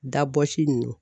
Dabɔsi nunnu